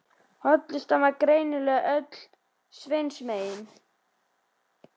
Hollusta hans var greinilega öll Sveins megin.